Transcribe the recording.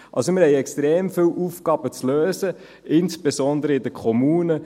Wir haben extrem viele Aufgaben zu lösen, insbesondere in den Kommunen.